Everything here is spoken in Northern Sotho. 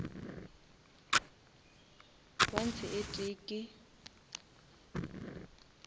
ounce e tee ke